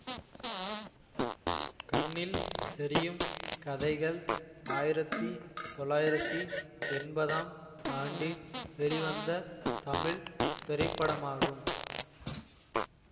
கண்ணில் தெரியும் கதைகள் ஆயிரத்தி தொளாயிரத்தி என்பதாம் ஆண்டு வெளிவந்த தமிழ் திரைப்படமாகும்